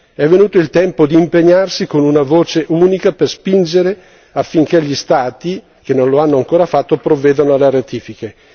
È venuto il tempo di impegnarsi con una voce unica per spingere affinché gli Stati, che non lo hanno ancora fatto, provvedano alle ratifiche.